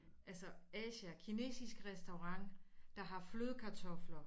Altså Asia kinesisk restaurant der har flødekartofler